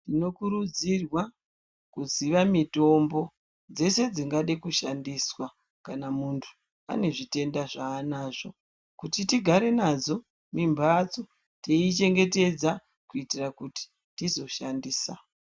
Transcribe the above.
Tinokurudzirwa kuziya mitombo dzese dzingade kushandiswa kana muntu ane zvitenda zvaanazvo, kuti tigare nadzo mumhatso teiyichengetedza kuitira kuti tizoishandisa.